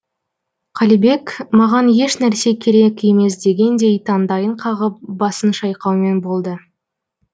қалибек маған ешнәрсе керек емес дегендей таңдайын қағып басын шайқаумен болды